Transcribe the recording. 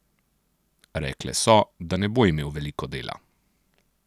Rekle so, da ne bo imel veliko dela.